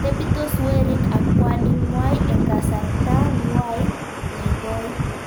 Tepitos werik ak kwaning'wai eng' kasarta ng'wai nekoi